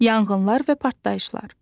Yanğınlar və partlayışlar.